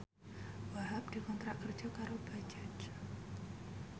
Wahhab dikontrak kerja karo Bajaj